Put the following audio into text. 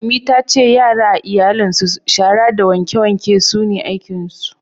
Ummi ta ce yara a iyalin su shara da wanke wanke ne aikin su